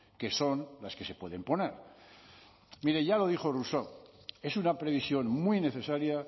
que son las que se pueden poner mire ya lo dijo rousseau es una previsión muy necesaria